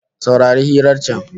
Saurari hirar can